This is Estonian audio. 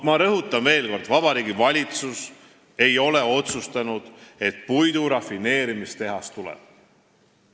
Ma rõhutan veel kord: Vabariigi Valitsus ei ole otsustanud, et puidurafineerimistehas tuleb.